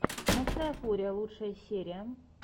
ночная фурия лучшая серия